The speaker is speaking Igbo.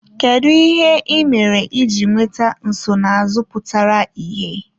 Kedu ihe ị mere iji nweta nsonaazụ pụtara ìhè?